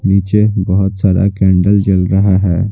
नीचे बहुत सारा कैंडल जल रहा है।